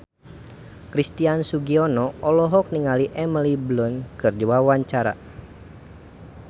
Christian Sugiono olohok ningali Emily Blunt keur diwawancara